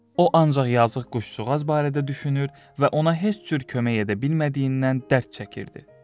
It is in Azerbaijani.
O ancaq yazıq quşçuğaz barədə düşünür və ona heç cür kömək edə bilmədiyindən dərd çəkirdi.